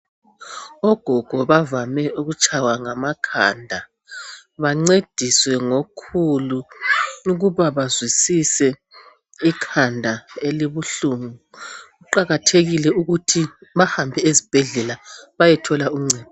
ogogo bavame ukutshaywa ngamakhanda bencediswe ngabokhulu ukuba bazwisise ikhanda elibuhlungu kuqhakthekile ukuthi bahambe esibhedlela behambe beyethola uncedo